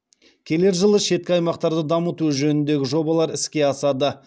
келер жылы шеткі аймақтарды дамыту жөніндегі жобалар іске асады